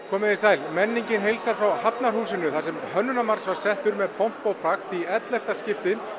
komið þið sæl menningin heilsar frá Hafnarhúsi þar sem Hönnunarmars var settur með pompi og prakt í ellefta skipti